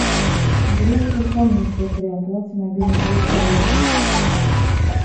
берется ли комиссия при оплате мобильной связи коллеги